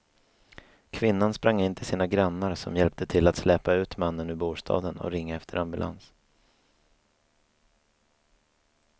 Kvinnan sprang in till sina grannar som hjälpte till att släpa ut mannen ur bostaden och ringa efter ambulans.